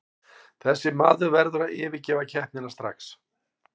Þessi maður verður að yfirgefa keppnina strax.